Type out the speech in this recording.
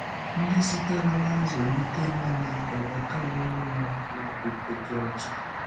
Ndị sitere ná nzụ̀lite nile enwetàwo ọṅụ n’okpùkpe dị ọcha.